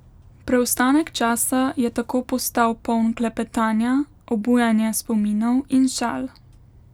Preostanek časa je tako postal poln klepetanja, obujanja spominov in šal.